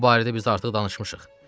Bu barədə biz artıq danışmışıq.